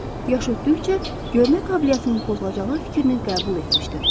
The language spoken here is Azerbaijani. Yaş ötdükcə görmə qabiliyyətinin pozulacağı fikrini qəbul etmişdim.